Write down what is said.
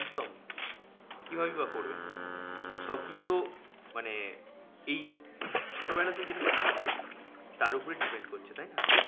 একদম কিভাবেই বা করবে? সবকিছুতো মানে এই ছোটোবেলাতে যেটা শিখছে তার উপরে depend করছে, তাইনা?